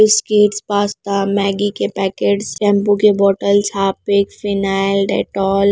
biscuits pasta Maggi के packets shampoo के bottles Harpic phenyl Dettol --